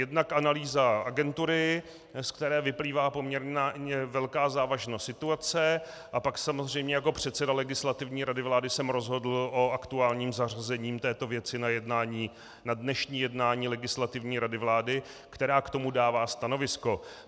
Jednak analýza agentury, ze které vyplývá poměrně velká závažnost situace, a pak samozřejmě jako předseda Legislativní rady vlády jsem rozhodl o aktuálním zařazení této věci na dnešní jednání Legislativní rady vlády, která k tomu dává stanovisko.